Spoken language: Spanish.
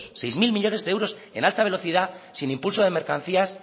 seis mil millónes de euros en alta velocidad sin impulso de mercancías